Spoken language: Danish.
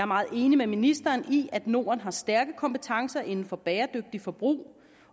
meget enig med ministeren i at norden har stærke kompetencer inden for bæredygtigt forbrug